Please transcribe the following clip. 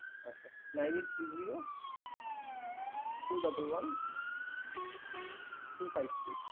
আচ্ছা nine eight three zero two double one three five six ।